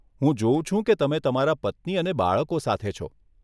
હું જોઉં છું કે તમે તમારા પત્ની અને બાળકો સાથે છો.